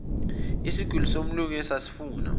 isigwili somlungu esasifuna